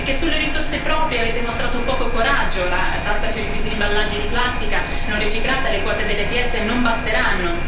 Sulle risorse proprie avete mostrato poco coraggio la tassa sui rifiuti di imballaggi di plastica non riciclata e le quote dell'ETS non basteranno.